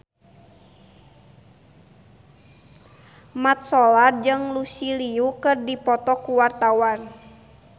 Mat Solar jeung Lucy Liu keur dipoto ku wartawan